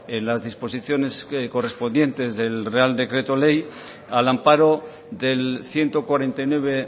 las disposiciones correspondientes del real decreto ley al amparo del ciento cuarenta y nueve